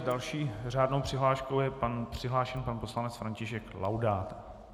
S další řádnou přihláškou je přihlášen pan poslanec František Laudát.